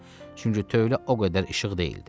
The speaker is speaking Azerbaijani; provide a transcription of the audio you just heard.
Çünki tövlə o qədər işıq deyildi.